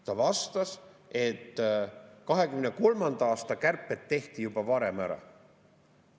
Ta vastas, et 2023. aasta kärped tehti juba varem ära.